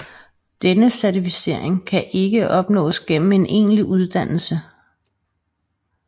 Denne certificering kan ikke opnås gennem en egentlig uddannelse